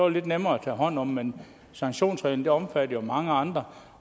lidt nemmere at tage hånd om men sanktionsreglen omfatter jo mange andre